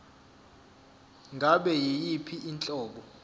ngabe yiyiphi inhlobo